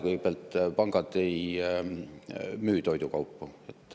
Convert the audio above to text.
Kõigepealt, pangad ei müü toidukaupu.